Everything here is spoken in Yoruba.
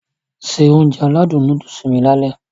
Se Ounjẹ aládùn nóódùsì mi lálẹ́